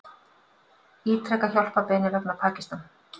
Ítreka hjálparbeiðni vegna Pakistan